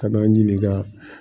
Ka n'an ɲininka